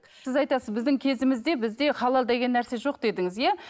сіз айтасыз біздің кезімізде бізде халал деген нәрсе жоқ дедіңіз иә